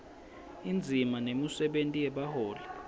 indzima nemisebenti yebaholi